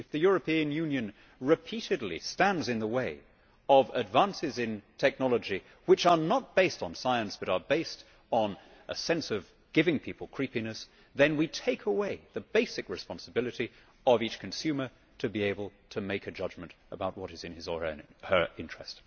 If the European Union repeatedly stands in the way of advances in technology, not on the basis of science but based on a sense of giving people creepiness, then we take away the basic responsibility of each consumer to be able to make a judgement about what is in his or her interest.